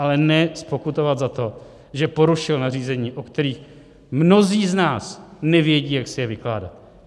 Ale ne zpokutovat za to, že porušil nařízení, o kterých mnozí z nás nevědí, jak si je vykládat.